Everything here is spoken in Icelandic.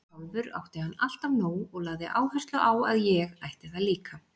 Sjálfur átti hann alltaf nóg og lagði áherslu á að ég ætti það líka.